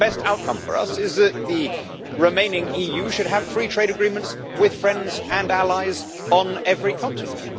The best outcome for us is that the remaining EU should have free trade agreements with friends and allies on every continent.